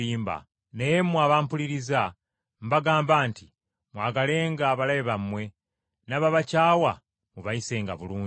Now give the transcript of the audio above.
“Naye mmwe abampuliriza mbagamba nti: Mwagalenga abalabe bammwe, n’ababakyawa mubayisenga bulungi.